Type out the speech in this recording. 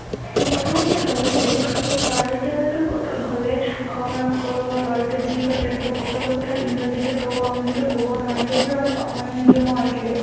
প্ৰথমতে ভাবিছিলো যে চাৰহতে গলে চাগে খং ৰাগ কৰিব, চাৰহতে যি কয়, তেওঁলোকে সকলো কথা ইংৰাজীতে কব, আমিটো কব নোৱাৰে, কিয়নো আমি অসমীয়া মিডিয়ামৰ আছিলোঁ